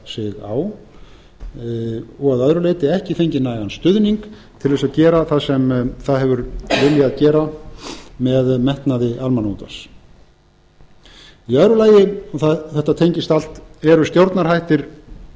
á og að öðru leyti ekki fengið nægan stuðning til þess að gera það sem það hefur viljað gera með metnaði almannaútvarps í öðru lagi og þetta tengist allt eru stjórnarhættir